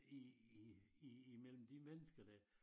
I i i mellem de mennesker der